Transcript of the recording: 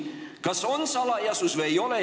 Kas on salajane hääletus või ei ole?